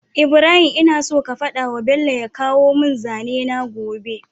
Ibrahim ina so ka fadawa bello ya kawo mun zane na gobe